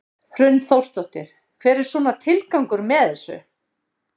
Hrund Þórsdóttir: Hver er svona tilgangur með þessu?